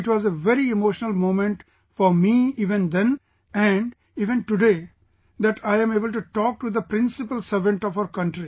So it was a very emotional moment for me even then and even today that I am able to talk to the Principal Servant of our country